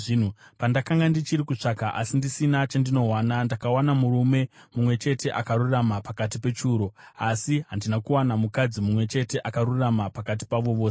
pandakanga ndichiri kutsvaka asi ndisina chandinowana, ndakawana murume mumwe chete akarurama pakati pechiuru, asi handina kuwana mukadzi mumwe chete akarurama pakati pavo vose.